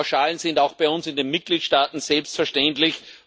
Die Pauschalen sind auch bei uns in den Mitgliedstaaten selbstverständlich.